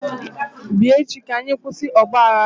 bia echi ka anyi kwusi ogbaghara a!